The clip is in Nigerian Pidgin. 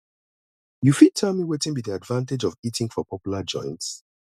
you fit tell me wetin be di advantage of eating for popular joints